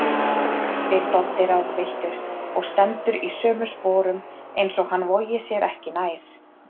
spyr Doddi ráðvilltur og stendur í sömu sporum eins og hann vogi sér ekki nær.